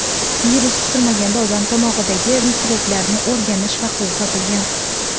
Virus kutilmaganda odam tomog‘idagi mikroblarni o‘rganish vaqtida topilgan.